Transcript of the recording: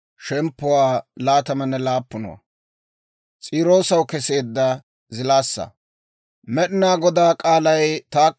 Med'inaa Godaa k'aalay taakko hawaadan yaagiidde yeedda;